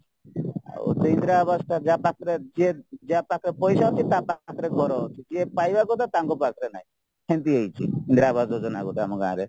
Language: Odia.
ଆଉ ସେ ଇନ୍ଦିରାଆବାସଟା ଯାହା ପାଖରେ ଯିଏ ଯାହାପାଖରେ ପଇସା ଅଛି ତାପାଖରେ ଘର ଅଛି ଯିଏ ପାଇବା କଥା ତାଙ୍କ ପାଖରେ ନାହିଁ ସେମିତି ହେଇଚି ଇନ୍ଦିରାଆବାସ ଯୋଜନା ଆମ ଗୋଟେ ଗାଁରେ